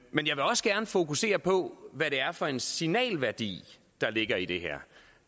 men jeg vil også gerne fokusere på hvad det er for en signalværdi der ligger i det her